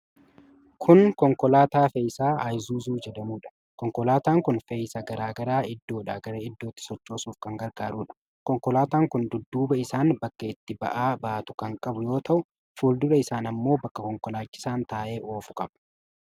Kun konkolaataa fe'iisaa Iyizuuzuu jedhamuudha. Konkolaataan kun fe'iisa garaa garaa iddoodhaa gara iddootti sochoosuuf kan gargaarudha. Konkolaataan kun dudduuba isaan bakka itti ba'aa baatu kan qabu yoo ta'u, fuuldura isaan ammoo bakka konkolaachisaan taa'ee oofu qaba.